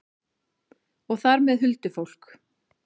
Og þar með huldufólk?